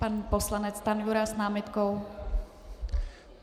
Pan poslanec Stanjura s námitkou.